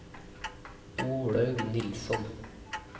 Olaug Nilsson